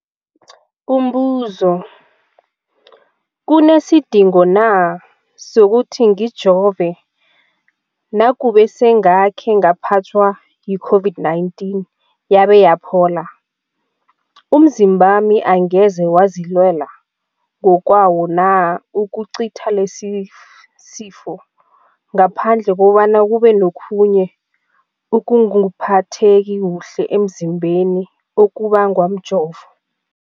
Umbuzo, kunesidingo na sokuthi ngijove nakube sengakhe ngaphathwa yi-COVID-19 yabe yaphola? Umzimbami angeze wazilwela ngokwawo na ukucitha lesisifo, ngaphandle kobana kube nokhunye ukungaphatheki kuhle emzimbeni okubangwa mjovo?